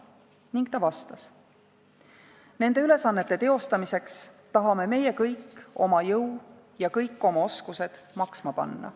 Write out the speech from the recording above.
Ning ta vastas: "Nende ülesannete teostamiseks tahame meie kõik oma jõu ja kõik oma oskused tööle panna.